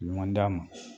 Ɲɔgɔn dan ma